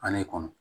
A kɔnɔ